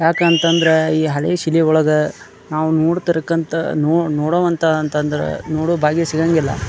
ಯಾಕಂತ ಅಂದ್ರೆ ಈ ಹಳೆ ಶಿಲೆ ಒಳಗೆ ನಾವು ನೋಡ್ತಿರಕಂತ ನೋಡೋವಂತ ಅಂದ್ರ ನೋಡೋ ಭಾಗ್ಯ ಸಿಗೋದಿಲ್ಲ.